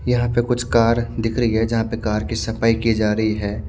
यहाँ पर कुछ कार दिख रही हे जहाँ पर कार की सफाई की जा रही हैं।